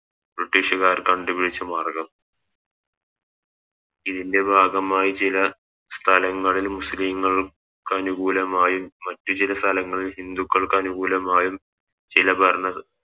ബ്രിട്ടീഷുകാർ കണ്ടുപിടിച്ച മാർഗം ഇതിൻറെ ഭാഗമായി ചിലർ സ്ഥലങ്ങളിലും മുസ്ലിങ്ങൾക്കനുകൂലമായും മറ്റു ചില സ്ഥലങ്ങൾ ഹിന്ദുക്കൾക്കനുകൂലമായും ചില ഭരണ